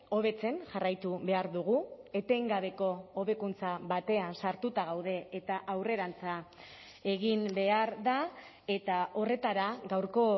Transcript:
hobetzen jarraitu behar dugu etengabeko hobekuntza batean sartuta gaude eta aurrerantza egin behar da eta horretara gaurko